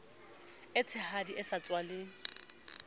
e tshehadi e sa tswaleng